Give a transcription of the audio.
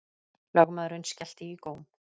Lögmaðurinn skellti í góm.